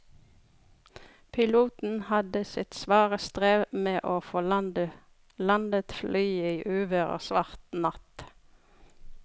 Piloten hadde sitt svare strev med å få landet flyet i uvær og svart natt.